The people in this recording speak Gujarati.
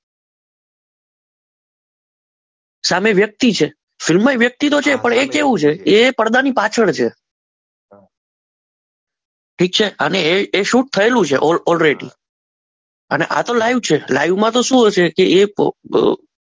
સામે વ્યક્તિ છે ફિલ્મમાં જે વ્યક્તિ તો છે પણ એ કેવું છે એ પડદાની પાછળ છે ઠીક છે એ શુટ થયેલું છે ઓલરેડી અને આ તો લાઈવ છે લાઈવમાં તો શું હોય કે એ